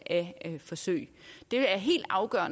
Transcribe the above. af et forsøg